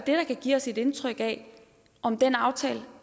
give os et indtryk af om den aftale